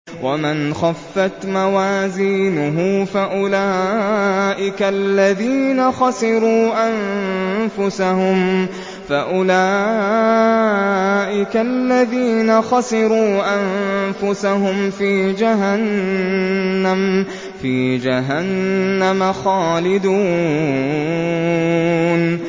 وَمَنْ خَفَّتْ مَوَازِينُهُ فَأُولَٰئِكَ الَّذِينَ خَسِرُوا أَنفُسَهُمْ فِي جَهَنَّمَ خَالِدُونَ